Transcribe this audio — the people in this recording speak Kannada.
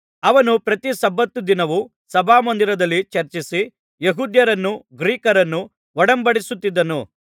ಅವನು ಪ್ರತಿ ಸಬ್ಬತ್ ದಿನವೂ ಸಭಾಮಂದಿರದಲ್ಲಿ ಚರ್ಚಿಸಿ ಯೆಹೂದ್ಯರನ್ನೂ ಗ್ರೀಕರನ್ನೂ ಒಡಂಬಡಿಸುತ್ತಿದ್ದನು